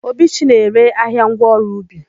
Obichi na-ere ahịa ngwaọrụ ubi.